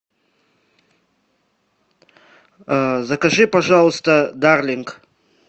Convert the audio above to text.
закажи пожалуйста дарлинг